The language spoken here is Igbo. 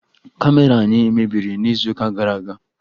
Kamera anyị mebiri n'izuụka gara aga